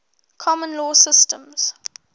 common law systems